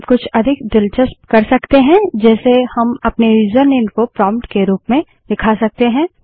हम कुछ अधिक दिलचस्प कर सकते हैं जैसे हम अपने यूजरनेम को प्रोंप्ट के रूप में दिखा सकते हैं